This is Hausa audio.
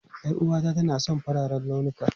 Yar'uwata tana son fararen launuka.